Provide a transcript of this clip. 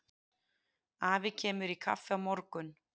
Afi kemur í kaffi á morgun.